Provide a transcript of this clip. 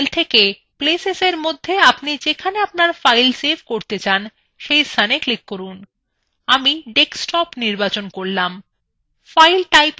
বাম panel থেকে places এর মধ্যে আপনি যেখানে আপনার file save করতে চান সেইস্থানে click from আমি desktop নির্বাচন from